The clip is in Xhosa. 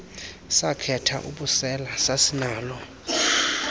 sakhetha ubusela sasinalo